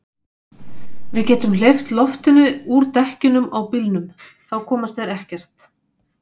Við getum hleypt loftinu úr dekkjunum á bílnum. þá komast þeir ekkert.